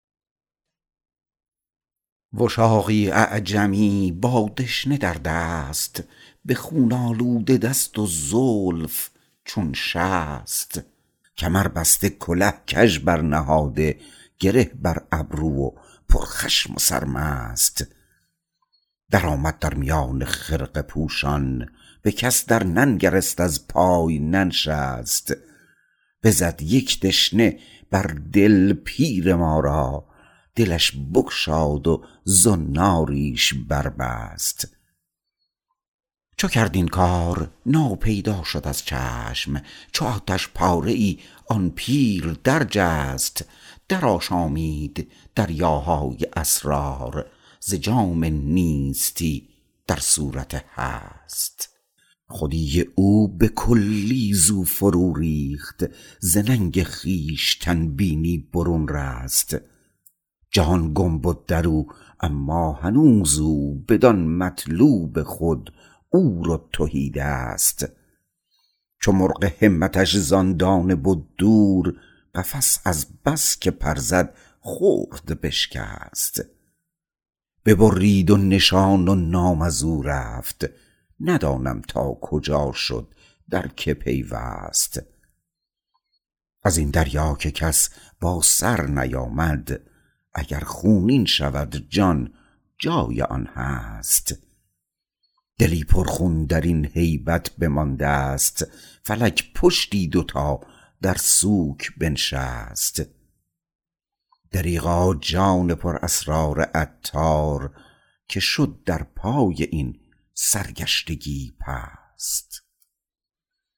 وشاقی اعجمی با دشنه در دست به خون آلوده دست و زلف چون شست کمر بسته کله کژ برنهاده گره بر ابرو و پر خشم و سرمست درآمد در میان خرقه پوشان به کس در ننگرست از پای ننشست بزد یک دشته بر دل پیر ما را دلش بگشاد و زناریش بربست چو کرد این کار ناپیدا شد از چشم چون آتش پاره ای آن پیر در جست درآشامید دریاهای اسرار ز جام نیستی در صورت هست خودی او به کلی زو فرو ریخت ز ننگ خویشتن بینی برون رست جهان گم بد درو اما هنوز او بدان مطلوب خود عور و تهی دست چو مرغ همتش زان دانه بد دور قفس از بس که پر زد خرد بشکست ببرید و نشان و نام از او رفت ندانم تا کجا شد در که پیوست ازین دریا که کس با سر نیامد اگر خونین شود جان جای آن هست دلی پر خون درین هیبت بمانده ست فلک پشتی دو تا در سوک بنشست دریغا جان پر اسرار عطار که شد در پای این سرگشتگی پست